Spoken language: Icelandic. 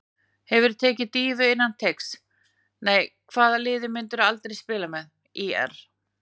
Hefurðu tekið dýfu innan teigs: Nei Hvaða liði myndir þú aldrei spila með: ÍR